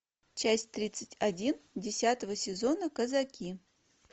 часть тридцать один десятого сезона казаки